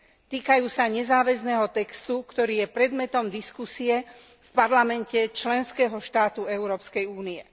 Týkajú sa nezáväzného textu, ktorý je predmetom diskusie v parlamente členského štátu Európskej únie.